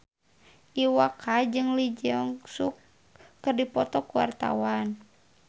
Iwa K jeung Lee Jeong Suk keur dipoto ku wartawan